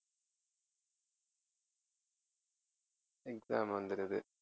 exam வந்துருது